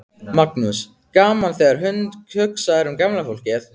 Magnús: Gaman þegar hugsað er um gamla fólkið?